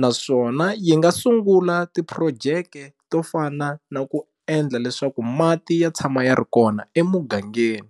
naswona yi nga sungula ti-project to fana na ku endla leswaku mati ya tshama ya ri kona emugangeni.